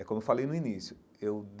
É como falei no início eu.